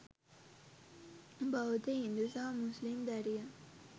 බෞද්ධ හින්දු සහ මුස්ලිම් දැරියන්.